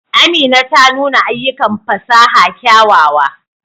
Amina ta nuna ayyukan fasaha kyawawa.